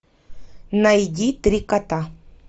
найди три кота